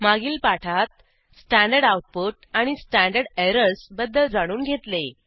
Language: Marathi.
मागील पाठात स्टँडर्ड आऊटपुट आणि स्टँडर्ड एरर्स बद्दल जाणून घेतले